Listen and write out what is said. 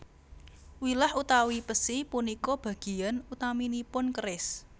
Wilah utawi pesi punika bagian utaminipun keris